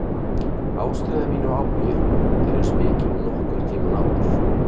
Ástríða mín og áhugi er eins mikil og nokkurn tíma áður.